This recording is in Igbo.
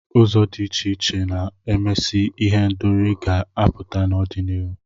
Ụzọ dị iche iche na-esimesi ihendori ga-apụta n'ọdịnihu.